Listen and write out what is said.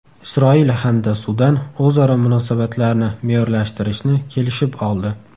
Isroil hamda Sudan o‘zaro munosabatlarni me’yorlashtirishni kelishib oldi.